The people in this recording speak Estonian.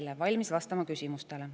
Olen valmis vastama küsimustele.